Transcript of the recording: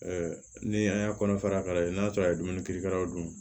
ni an y'a kɔnɔ fara ka lajɛ n'a sɔrɔ a ye dumuni kɛ ka dun